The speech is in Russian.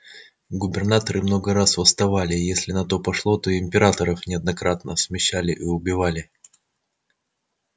губернаторы много раз восставали и если на то пошло то и императоров неоднократно смещали и убивали